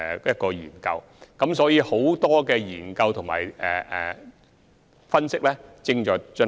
因此，現時有多項研究及分析正在進行。